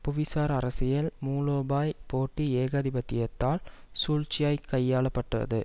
புவிசார் அரசியல் மூலோபாய்ப் போட்டி ஏகாதிபத்தியத்தால் சூழ்ச்சியாய்க் கையாள பட்டது